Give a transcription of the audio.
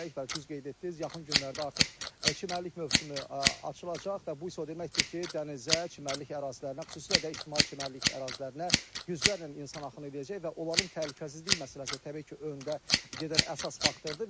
Bax düz qeyd etdiniz, yaxın günlərdə artıq çimərlik mövsümü açılacaq və bu isə o deməkdir ki, dənizə, çimərlik ərazilərinə, xüsusilə də ictimai çimərlik ərazilərinə yüzlərlə insan axını eləyəcək və onların təhlükəsizlik məsələsi təbii ki, öndə gedən əsas faktordur.